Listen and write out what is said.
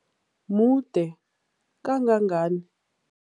Mude kangangani?